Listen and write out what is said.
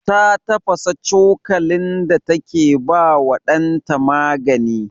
Ta tafasa cokalin da take ba wa ɗanta magani.